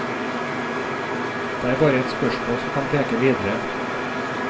Det er bare et spørsmål som kan peke videre.